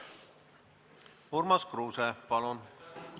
Urmas Kruuse, palun!